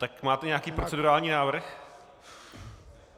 Tak máte nějaký procedurální návrh?